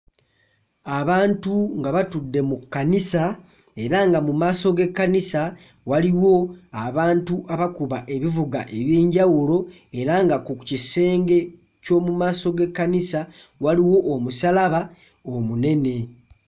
Abantu nga batudde mu kkanisa era nga mu maaso g'ekkanisa waliwo abantu abakuba ebivuga eby'enjawulo era nga ku kisenge ky'omu maaso g'ekkanisa waliwo omusaalaba omunene.